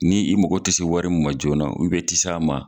Ni i mago tɛ se wari min ma joona i tɛ s'a ma.